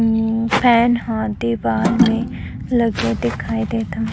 अम्म fan ह दीवाल में लगे दिखाई देत हवे--